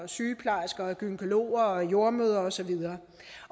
sygeplejersker gynækologer og jordemødre og så videre